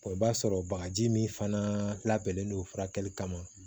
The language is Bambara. i b'a sɔrɔ bagaji min fana labɛnnen no furakɛli kama